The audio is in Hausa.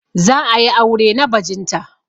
Za a yi aure na bajinta.